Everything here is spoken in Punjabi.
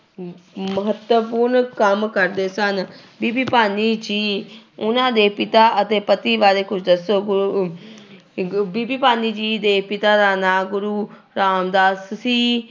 ਮਹੱਤਵਪੂਰਨ ਕੰਮ ਕਰਦੇ ਸਨ, ਬੀਬੀ ਭਾਨੀ ਜੀ ਉਹਨਾਂ ਦੇ ਪਿਤਾ ਅਤੇ ਪਤੀ ਬਾਰੇੇ ਕੁੱਝ ਦੱਸੋ, ਗੁਰੂ ਬੀਬੀ ਭਾਨੀ ਜੀ ਦੇ ਪਿਤਾ ਦਾ ਨਾਂ ਗੁਰੂ ਰਾਮਦਾਸ ਸੀ।